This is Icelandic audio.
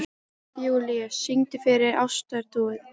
Júlíus, syngdu fyrir mig „Ástardúett“.